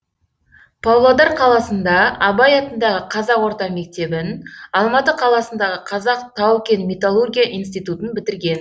павлодар қаласында абай атындағы қазақ орта мектебін алматы қаласындағы қазақ тау кен металлургия институтын бітірген